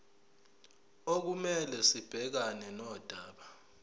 okumele sibhekane nodaba